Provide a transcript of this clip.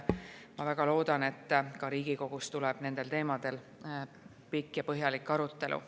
Ma väga loodan, et ka Riigikogus tuleb nendel teemadel pikk ja põhjalik arutelu.